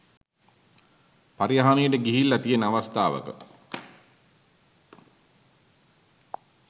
පරිහානියට ගිහිල්ල තියන අවස්ථාවක